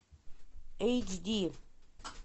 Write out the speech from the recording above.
эйч ди